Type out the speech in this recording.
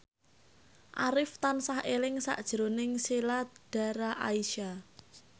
Arif tansah eling sakjroning Sheila Dara Aisha